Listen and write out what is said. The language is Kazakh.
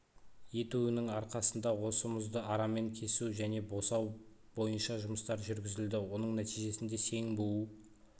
етуінің арқасында осы мұзды арамен кесу мен босау бойынша жұмыстар жүргізілді оның нәтижесінде сең буу